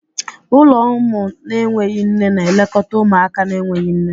Ụlọ ụmụ na-enweghị nne na-elekọta ụmụaka na-enweghị nne.